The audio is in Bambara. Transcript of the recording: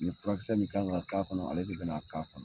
Ni fura kisɛ min kan ka kɔnɔ ale de bɛna a k'a kɔnɔ.